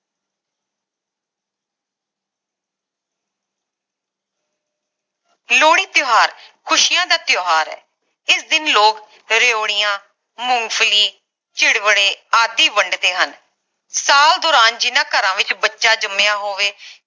ਲੋਹੜੀ ਤਿਓਹਾਰ ਖੁਸ਼ੀਆਂ ਦਾ ਤਿਓਹਾਰ ਹੈ ਇਸ ਦਿਨ ਲੋਕ ਰਿਓੜੀਆਂ ਮੂੰਗਫਲੀ ਚਿੜਵੱਡੇ ਆਦਿ ਵੰਢਦੇ ਹਨ ਸਾਲ ਦੌਰਾਨ ਜਿੰਨਾ ਘਰਾਂ ਵਿਚ ਬੱਚਾ ਜੰਮਿਆ ਹੋਵੇ